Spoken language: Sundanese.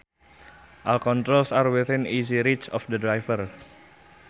All controls are within easy reach of the driver